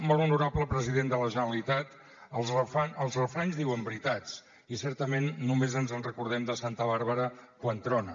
molt honorable president de la generalitat els refranys diuen veritats i certament només ens recordem de santa bàrbara quan trona